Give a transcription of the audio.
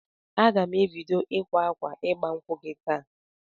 Aga m ebido ịkwa akwa ịgba nkwụ gị taa